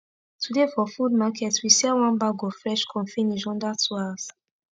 today for food market we sell one bag of fresh corn finish under two hours